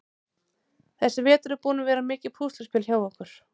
Þessi vetur er búinn að vera mikið púsluspil hjá okkur.